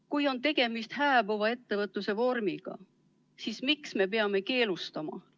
Kui on tegemist hääbuva ettevõtluse vormiga, siis miks me peame seda keelustama?